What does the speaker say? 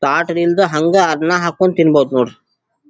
ತಾಟದಿಂದ ಹಂಗ್ ಅನ್ನ ಹಾಕೊಂಡ್ ತಿನ್ನಬಹುದ್ ನೋಡ್ರಿ.